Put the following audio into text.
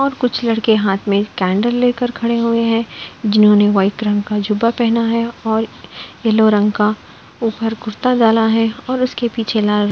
और कुछ लड़के हाथ में कैंडल लेकर खड़े हुए हैं जिन्होंने वाइट रंग का जुबा पहना है और येलो रंग का ऊपर कुर्ता डाला है और उसके पीछे लाल --